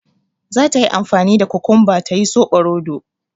Zata yi amfani da kukunba ta yi soɓoroto